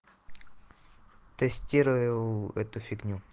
тестирую эту фигню